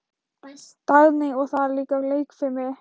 Dagný: Og það er líka leikfimi.